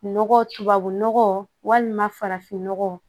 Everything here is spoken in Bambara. Nɔgɔ tubabu nɔgɔ walima farafinnɔgɔ